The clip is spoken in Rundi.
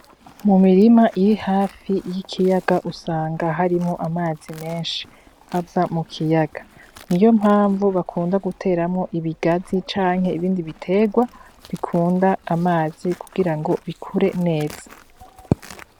Mu mirima irihafi y'ikiyaga usanga harimwo amazi menshi ava mu kiyaga niyo mpamvu bakunda guteramwo ibigazi canke ibindi biterwa bikunda amazi kugira ngo bikure neza.